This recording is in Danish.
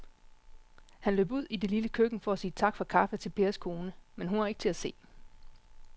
Han løb ud i det lille køkken for at sige tak for kaffe til Pers kone, men hun var ikke til at se.